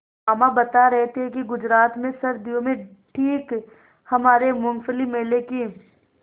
मामा बता रहे थे कि गुजरात में सर्दियों में ठीक हमारे मूँगफली मेले की